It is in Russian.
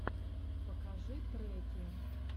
покажи треки